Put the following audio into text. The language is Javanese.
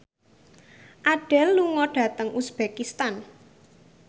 Adele lunga dhateng uzbekistan